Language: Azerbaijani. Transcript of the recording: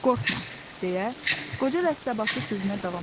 Qorxma, deyə Qoca dəstəbaşı sözünə davam etdi.